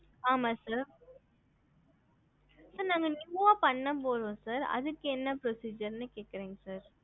ஹம்